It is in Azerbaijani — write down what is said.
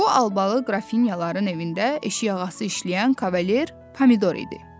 Bu Albalı qrafinyaların evində eşik ağası işləyən kavalier Pomidor idi.